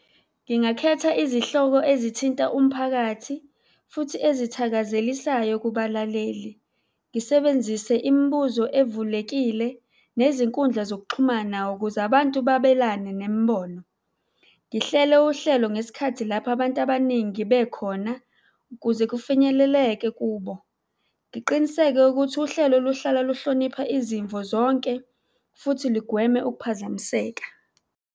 Ngingakhetha izihloko ezithinta umphakathi futhi ezithakazelisayo kubalaleli. Ngisebenzise imibuzo evulekile nezinkundla zokuxhumana ukuze abantu babelane nemibono. Ngihlele uhlelo ngesikhathi lapho abantu abaningi bekhona ukuze kufinyeleleke kubo. Ngiqiniseke ukuthi uhlelo luhlala luhlonipha izimvo zonke futhi lugweme ukuphazamiseka.